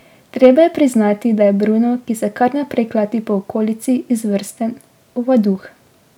Treba je priznati, da je Bruno, ki se kar naprej klati po okolici, izvrsten ovaduh.